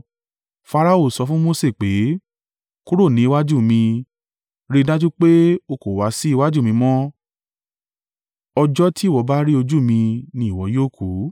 Farao sọ fún Mose pé, “Kúrò ní iwájú mi! Rí i dájú pé o kò wá sí iwájú mi mọ́! Ọjọ́ tí ìwọ bá rí ojú mi ni ìwọ yóò kùú.”